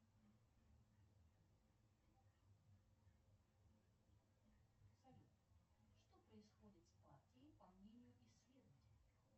салют что происходит с партией по мнению исследователей